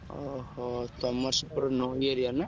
ଓହୋ! ତମର ସେପଟେ ନଈ area ନା?